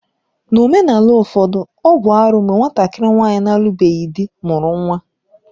N'omenala ụfọdụ, ọ bụ arụ mgbe nwatakịrị nwaanyị na-alubeghị dị mụrụ nwa